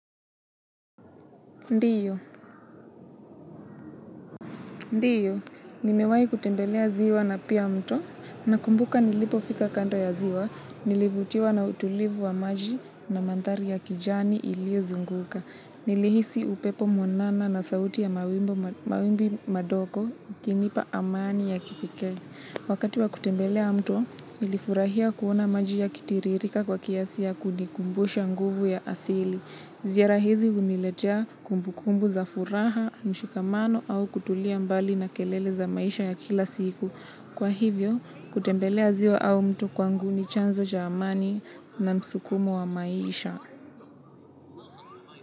Ndiyo, ndiyo, nimewayi kutembelea ziwa na pia mto, nakumbuka nilipo fika kanto ya ziwa, nilivutiwa na utulivu wa maji na mantari ya kijani iliozunguka. Nilihisi upepo mwanana na sauti ya mawimbi madoko, ikinipa amani ya kipekee. Wakati wa kutembelea mto, nilifurahia kuona maji yakitiririka kwa kiasi ya kunikumbusha nguvu ya asili. Ziara hizi uniletea kumbu kumbu za furaha, mshukamano au kutulia mbali na kelele za maisha ya kila siku. Kwa hivyo, kutembelea zio au mtu kwangu ni chanzo jamani na msukumu wa maisha.